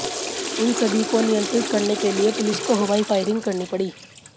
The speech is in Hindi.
इन सभी को नियंत्रित करने के लिए पुलिस को हवाई फायरिंग करनी पड़ी